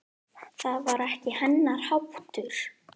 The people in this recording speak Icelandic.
Það var ekki hennar háttur.